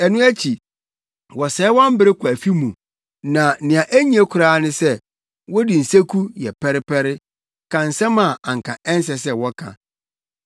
Ɛno akyi, wɔsɛe wɔn bere kɔ afi mu na nea enye koraa ne sɛ wodi nseku yɛ pɛrepɛre, ka nsɛm a anka ɛnsɛ sɛ wɔka.